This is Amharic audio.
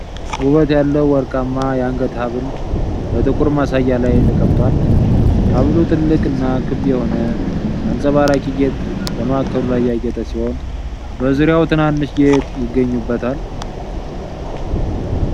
ውበት ያለው ወርቃማ የአንገት ሐብል በጥቁር ማሳያ ላይ ተቀምጧል። ሐብሉ ትልቅና ክብ የሆነ አንጸባራቂ ጌጥ በማዕከሉ ላይ ያጌጠ ሲሆን፣ በዙሪያው ትናንሽ ጌጥ ይገኙበታል።